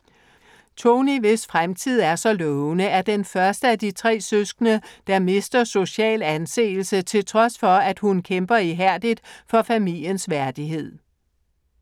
Tony, hvis fremtid er så lovende, er den første af de tre søskende, der mister social anseelse, til trods for, at hun kæmper ihærdigt for familiens værdighed.